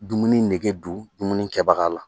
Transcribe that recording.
Dumuni nege don dumuni kɛbaga la